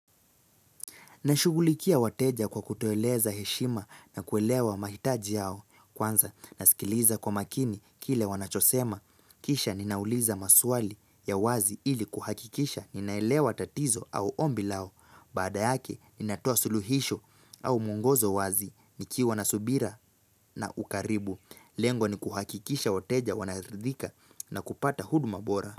Nashugulikia wateja kwa kutueleza heshima na kuelewa mahitaji yao. Kwanza nasikiliza kwa makini kile wanachosema. Kisha ninauliza maswali ya wazi ili kuhakikisha ninaelewa tatizo au ombi lao. Baada yake ninatoa suluhisho au mwongozo wazi nikiwa na subira na ukaribu. Lengo ni kuhakikisha wateja wanaridhika na kupata huduma bora.